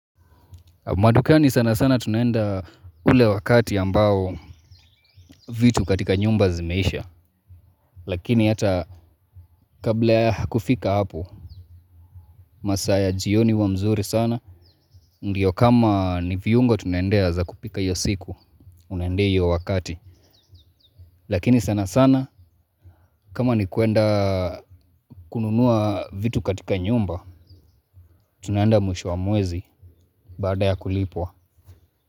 Madukani sana sana tunaenda ule wakati ambao vitu katika nyumba zimeisha, lakini hata kabla ya kufika hapo, masaa ya jioni huwa mzuri sana, ndio kama ni viungo tunaendea za kupika hiyo siku, unaendea hiyo wakati. Lakini sana sana, kama ni kuenda kununua vitu katika nyumba, tunaenda mwisho wa mwezi baada ya kulipwa.